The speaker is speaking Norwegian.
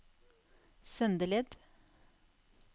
Søndeled